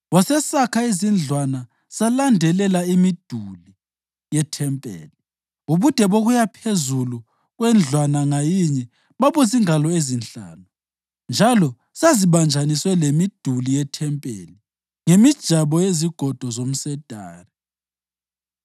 Wasesakha izindlwana zalandelela imiduli yethempeli. Ubude bokuya phezulu kwendlwana ngayinye babuzingalo ezinhlanu, njalo zazibanjaniswe lemiduli yethempeli ngemijabo yezigodo zomsedari.